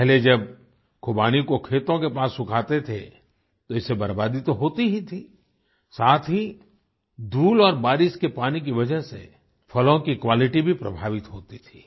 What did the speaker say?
पहले जब खुबानी को खेतों के पास सुखाते थे तो इससे बर्बादी तो होती ही थी साथ ही धूल और बारिश के पानी की वजह से फलों की क्वालिटी भी प्रभावित होती थी